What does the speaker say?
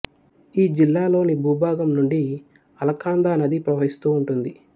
ఈ జిల్లాలోని భూభాగం నుండి అలకాందా నది ప్రవహిస్తూ ఉంటుంది